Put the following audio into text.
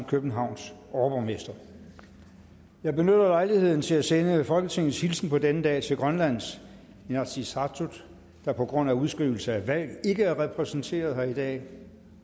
københavns overborgmester jeg benytter lejligheden til at sende folketingets hilsen på denne dag til grønlands inatsisartut der på grund af udskrivelse af valg ikke er repræsenteret her i dag